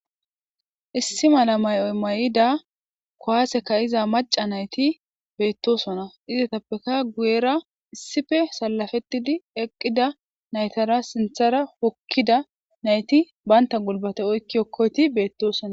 Issi mala may'o may'ida kuwasse ka'iza macca nayti beetosona; izetapekka guyera issippe sallapetidi eqqida naytara sinththara hokkida nayti banta gulbate oykki hokkoyti beetosona.